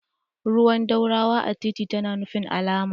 Ruwan dorawa a titi tana nufin alama.